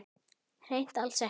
Hreint alls ekki.